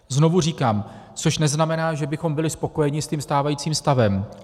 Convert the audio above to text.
Znovu říkám, což neznamená, že bychom byli spokojeni s tím stávajícím stavem.